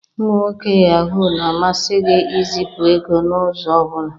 Ụmụ nwoke Yahoo na-amasị gị izipu ego n'ụzọ ọ bụla